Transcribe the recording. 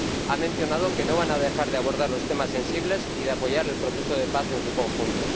Ha mencionado que no van a dejar de abordar los temas sensibles y de apoyar el proceso de paz en su conjunto.